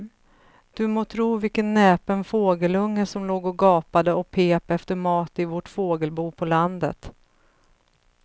Du må tro vilken näpen fågelunge som låg och gapade och pep efter mat i vårt fågelbo på landet.